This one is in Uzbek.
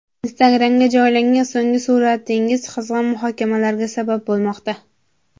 Instagram’ga joylagan so‘nggi suratingiz qizg‘in muhokamalarga sabab bo‘lmoqda.